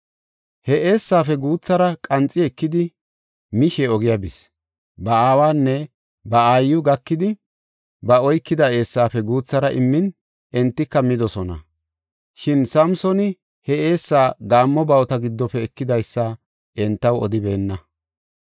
He eessaafe guuthara qanxi ekidi mishe ogiya bis. Ba aawanne ba aayiw gakidi, ba oykida eessaafe guuthara immin, entika midosona. Shin Samsooni he eessa gaammo bawuta giddofe ekidaysa entaw odibeenna.